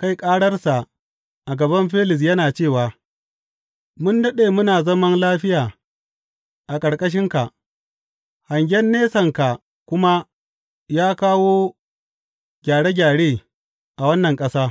kai ƙararsa a gaban Felis yana cewa, Mun daɗe muna zaman lafiya a ƙarƙashinka, hangen nesanka kuma ya kawo gyare gyare a wannan ƙasa.